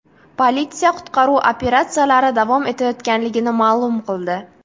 Politsiya qutqaruv operatsiyalari davom etayotganligini ma’lum qildi.